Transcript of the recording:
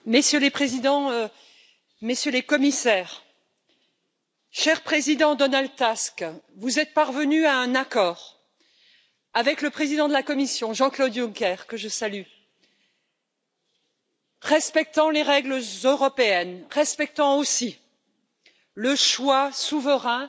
Messieurs les Présidents, Messieurs les Commissaires, cher Président Donald Tusk, vous êtes parvenu à un accord avec le Président de la Commission, Jean Claude Juncker, que je salue, un accord respectant les règles européennes, respectant aussi le choix souverain